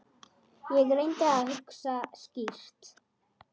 Ég reyndi að hugsa skýrt.